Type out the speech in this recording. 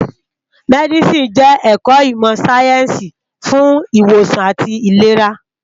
Mèdísìní jè èkò imò sáyènsí fún iwósàn átì ilérá